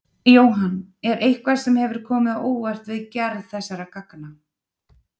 Jóhann: Er eitthvað sem hefur komið á óvart við gerð þessara gangna?